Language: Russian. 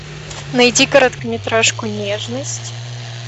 найди короткометражку нежность